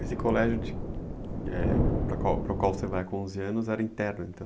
Esse colégio para o qual você vai com onze anos era interno, então?